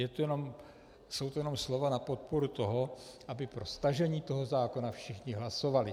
Jsou to jenom slova na podporu toho, aby pro stažení toho zákona všichni hlasovali.